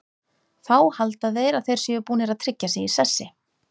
Þá halda þeir að þeir séu búnir að tryggja sig í sessi.